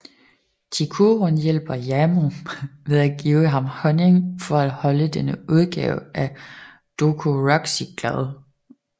Chikurun hjælper Yamoh ved at give ham honning for at holde denne udgave af Dokuroxy glad